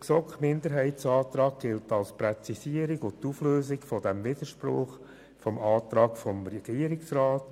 Der GSoK-Minderheitsantrag gilt als Präzisierung und dient der Auflösung des Widerspruchs im Antrag des Regierungsrats.